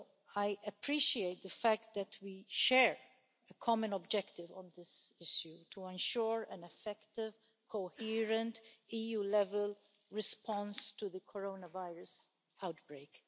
I appreciate the fact that we share a common objective on this issue to ensure an effective, coherent EU-level response to the coronavirus outbreak.